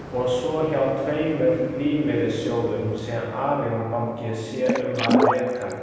Og svo hjá tveimur lífeyrissjóðum sem Arion banki sér um að reka.